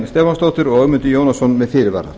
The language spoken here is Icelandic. stefánsdóttir og ögmundur jónasson með fyrirvara